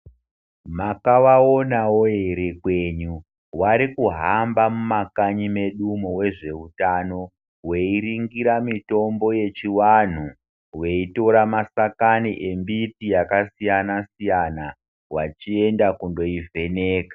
Makavaonavo ere kwenyu vaikuhamba mumakanyi menyumo vezveutano. Veiringira mitombo yechivantu veitora mashakani embiti akasiyana-siyana, vachienda kundoivheneka.